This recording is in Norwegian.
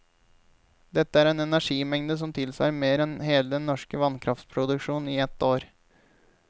Dette er en energimengde som tilsvarer mer enn hele den norske vannkraftproduksjon i ett år.